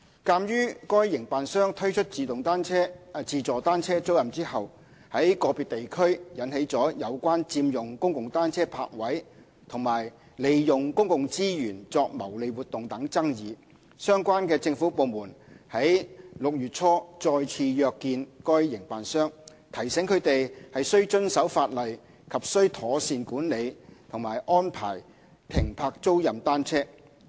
鑒於該營辦商推出自助單車租賃後，在個別地區引起有關佔用公共單車泊位和利用公共資源作牟利活動等爭議，相關政府部門於6月初再次約見該營辦商，提醒他們須遵守法例及須妥善管理和安排停泊租賃單車。